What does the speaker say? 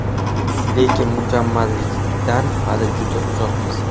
Lekin mukammallikdan hali juda uzoqmiz.